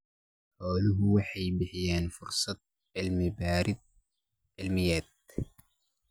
Xooluhu waxay bixiyaan fursado cilmi-baadhis cilmiyeed.